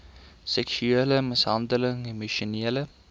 seksuele mishandeling emosionele